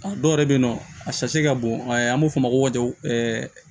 A dɔw yɛrɛ bɛ yen nɔ a ka bon an b'o f'o ma ko